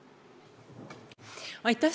Aitäh!